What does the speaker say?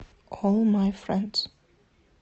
олл май фрэндс